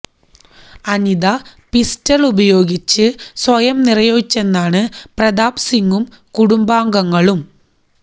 Anitha pistol ഉപയോഗിച്ചു സ്വയം നിറയൊഴിച്ചെന്നാണു പ്രതാപ് സിംഗും കുടുംബാംഗങ്ങളും